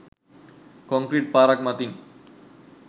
Concrete පාරක් මතින්.